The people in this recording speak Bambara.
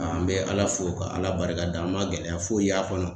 An bɛ Ala fo ka Ala barikada an man gɛlɛya foyi y'a kɔnɔ.